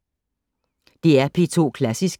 DR P2 Klassisk